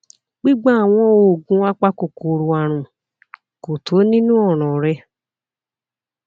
gbígba àwọn oògùn apakòkòrò àrùn kò tó nínú ọràn rẹ